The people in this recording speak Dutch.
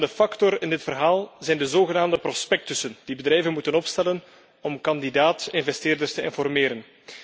Een afremmende factor in dit verhaal zijn de zogenaamde prospectussen die bedrijven moeten opstellen om kandidaat investeerders te informeren.